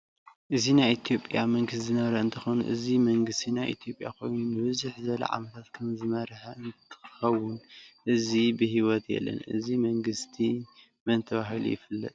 እዚ ናይ ኢትዮጱያ መንግስት ዝነበረ እንትከውን እዚ ምንግስት ናይ ኢትዮጱያ ኮይኑ ንብዝሕ ዝበለ ዓነመታት ከምዝሰርሐ እንትከውን ሕዚ ብሕወት የለ እዚ መንግስቲመን ተበሂሉ?